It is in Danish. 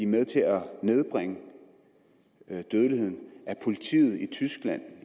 med til at nedbringe dødeligheden at politiet i tyskland